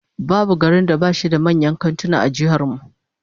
Babu babban garin da bashi da manyan kantuna a jihar mu